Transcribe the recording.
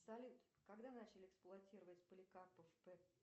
салют когда начали эксплуатировать поликарпов п